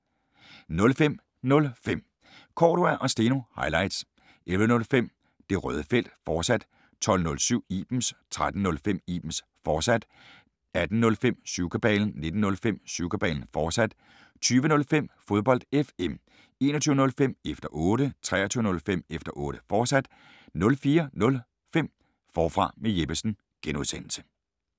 05:05: Cordua & Steno – highlights 11:05: Det Røde Felt, fortsat 12:07: Ibens 13:05: Ibens, fortsat 18:05: Syvkabalen 19:05: Syvkabalen, fortsat 20:05: Fodbold FM 21:05: Efter Otte 23:05: Efter Otte, fortsat 04:05: Forfra med Jeppesen (G)